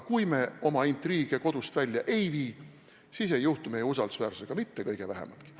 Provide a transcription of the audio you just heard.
Kui me oma intriige kodust välja ei vii, siis ei juhtu meie usaldusväärsusega mitte kõige vähematki.